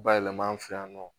Bayɛlɛma an fɛ yan nɔ